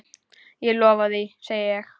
Ég lofa því, segi ég.